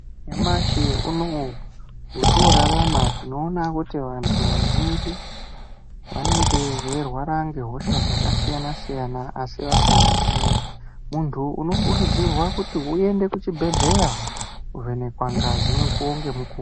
Nyamashe unowu, wotorarama tinowona kuti vantu vazhinji vanenge veyirwara ngehosha dzakasiyana siyana, asi vasingazivi. Munthu unokurudzirwa kuti uyende kuchibhedhleya kuvhenekwa ngazi mukuwo ngemukuwo.